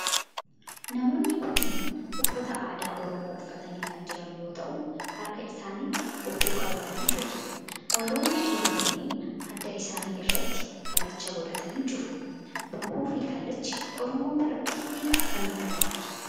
Namoonni kunneen uffata aadaa oromoo uffatanii kan jiran yoo ta'u harka isaanitti bokkuu qabatanii jiru. warroonni dhiiraa kunneen adda isaanii irratti kallacha godhatanii jiru. Bokkuu fi kallachi oromoo biratti hiika akkamii qaba?